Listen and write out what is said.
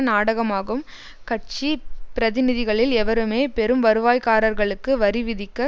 நாடகமாகும் கட்சி பிரதிநிதிகளில் எவருமே பெரும் வருவாய்காரர்களுக்கு வரி விதிக்க